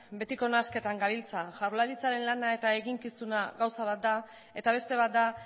betiko nahasketan gabiltza jaurlaritzaren lana eta eginkizuna gauza bat da eta beste bat da